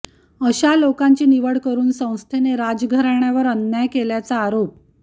अशा लोकांची निवड करून संस्थेने राजघराण्यावर अन्याय केल्याचा आरोप खा